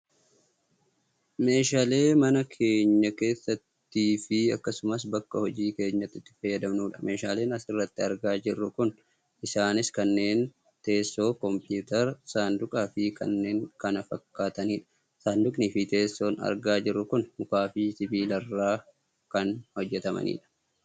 Meeshaalee mana keenya keessattiifi akkasumas bakka hojii keenyaatti itti fayyadamnudha, meeshaaleen asirratti argaa jirru kun isaanis kanneen teessoo, kompuutera, saanduqaa fi kanneen kana fakkaatanidha. saanduqniifi teessoon argaa jirru kun mukaafi sibiilarraa kan hojjatamanidha.